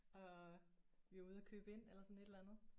Og vi var ude at købe ind eller sådan et eller andet